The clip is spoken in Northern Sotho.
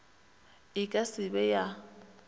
e ka se be ya